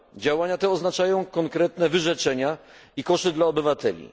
Działania te oznaczają konkretne wyrzeczenia i koszty dla obywateli.